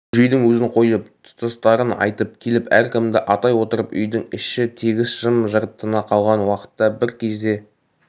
бөжейдің өзін қойып тұстастарын айтып келіп әркімді атай отырып үйдің іші тегіс жым-жырт тына қалған уақытта бір кезде